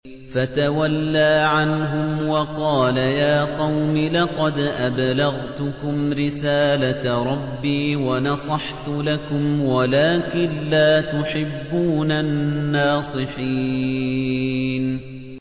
فَتَوَلَّىٰ عَنْهُمْ وَقَالَ يَا قَوْمِ لَقَدْ أَبْلَغْتُكُمْ رِسَالَةَ رَبِّي وَنَصَحْتُ لَكُمْ وَلَٰكِن لَّا تُحِبُّونَ النَّاصِحِينَ